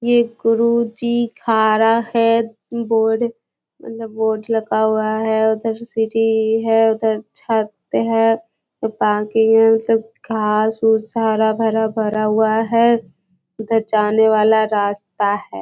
ये कुरुचि खा रहा है। बोर्ड उधर बोर्ड लगा हुआ है। उधर सीढ़ी है। उधर छत है। घास-उस हरा-भरा भरा हुआ है। उधर जाने वाला रास्ता है।